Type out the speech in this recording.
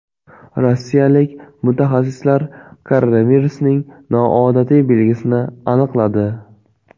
Rossiyalik mutaxassislar koronavirusning noodatiy belgisini aniqladi.